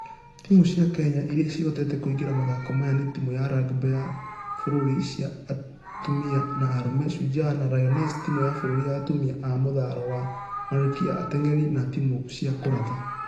Timũ cia kenya iria cihotete kũingĩra mathako maya nĩ timũ ya rugby ya bũrũri cia atumia na arũme - shujaa na lioness , timũ ya bũrũri ya atumia ya mũthalo wa.....-malkia- , atengeri, ....na timũ cia kũratha.